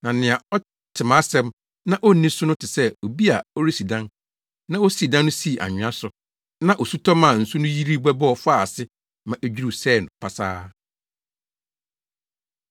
Na nea ɔte mʼasɛm na onni so no te sɛ obi a ɔresi dan, na osii dan no sii nwea so, na osu tɔ maa nsu no yiri bɛbɔ faa ase ma edwiriw sɛee pasaa.”